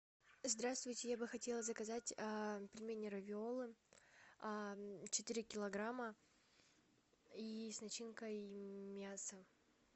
здравствуйте я бы хотела заказать пельмени равиолло четыре килограмма и с начинкой мясо